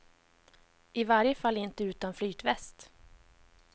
I varje fall inte utan flytväst.